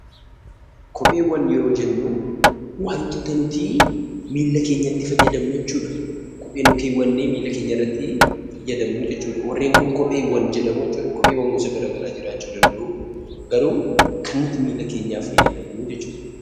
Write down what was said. Kopheewwan yeroo jennu waantota nutii miilla keenyatti fayyadamnuu jechuudha. Kophee nu keewwannee miila keenyarratti fayyadamnu jechuudha. Warreen kun kopheewwan jedhamuu jechuudha. Kopheewwan gosa garaa garaa jiraachuu danda'uu. Garuu kan nuti miila keenyaf fayyadamnuu jechuudha.